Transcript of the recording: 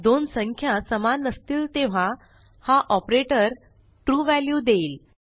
दोन संख्या समान नसतील तेव्हा हा ऑपरेटर ट्रू व्हॅल्यू देईल